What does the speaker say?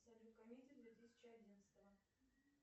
салют комедии две тысячи одиннадцатого